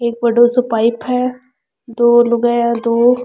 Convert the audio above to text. एक बडो सो पाइप है दो लुगाई है दो --